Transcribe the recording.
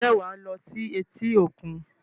Ǹjẹ́ wàá lo sí etí-òkun?